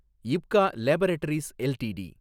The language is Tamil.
Ipca laboratories LTD